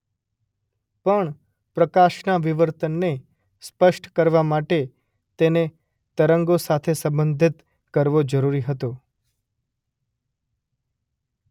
પણ પ્રકાશના વિવર્તનને સ્પષ્ટ કરવા માટે તેને તરંગો સાથે સંબંધિત કરવો જરૂરી હતો.